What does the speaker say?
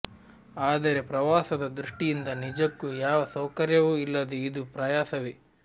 ಆದರೆ ಪ್ರವಾಸದ ದೃಷ್ಟಿಯಿಂದ ನಿಜಕ್ಕೂ ಯಾವ ಸೌಕರ್ಯವೂ ಇಲ್ಲದೆ ಇದು ಪ್ರಯಾಸವೇ